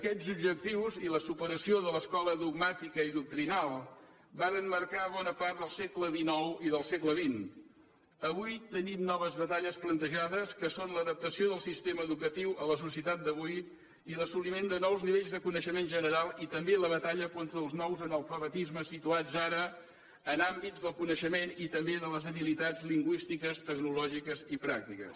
aquests objectius i la superació de l’escola dogmàtica i doctrinal varen marcar bona part del segle i del segle que són l’adaptació del sistema educatiu a la societat d’avui i l’assoliment de nous nivells de coneixement general i també la batalla contra els nous analfabetismes situats ara en àmbits del coneixement i també de les habilitats lingüístiques tecnològiques i pràctiques